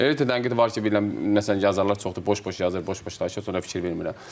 Elə də tənqid var ki, bilirsən məsələn yazarlar çoxdur, boş-boş yazır, boş-boş danışır, sonra fikir vermirəm.